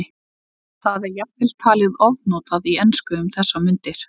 Það er jafnvel talið ofnotað í ensku um þessar mundir.